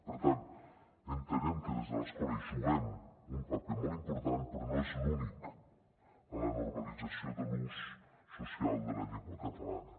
per tant entenem que des de l’escola hi juguem un paper molt important però no és l’únic en la normalització de l’ús social de la llengua catalana